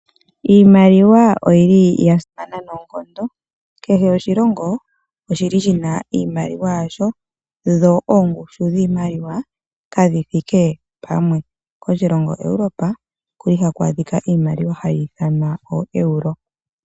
Iimaliwa oyili ya simana noonkondo kehe oshilongo oshili shina iimaliwa yasho dho oongushu dhiimaliwa kadhi thike pamwe. Koshilongo Europa okuli haku adhika iimaliwa hayi ithanwa oo Euro.